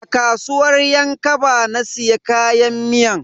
A kasuwar yan kaba na siya kayan miyan.